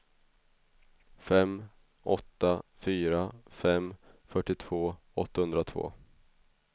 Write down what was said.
fem åtta fyra fem fyrtiotvå åttahundratvå